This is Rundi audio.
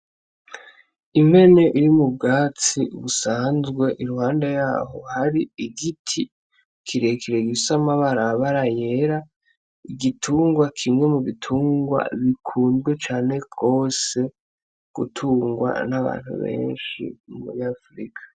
Imbene iri mu bwatsi ubusanzwe i rwanda yaho hari igiti kirekere igisa amabarabara yera igitungwa kimwe mu bitungwa bikundwe cane rwose gutungwa n'abantu benshi mumuri afurika.